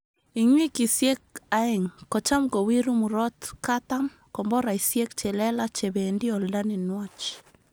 Ing wikisyek aeng kocham kowiru murotkatam komboraisyek che lelaach che bendi olda ne nwach